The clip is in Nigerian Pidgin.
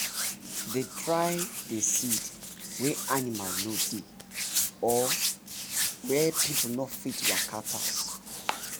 dey try dey seed wey animal no dey or wer people no fit waka pass